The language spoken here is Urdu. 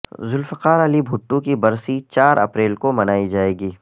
ذوالفقارعلی بھٹو کی برسی چار اپریل کو منائی جائے گی